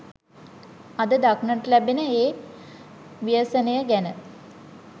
අද දක්නට ලැබෙන ඒ ව්‍යසනය ගැන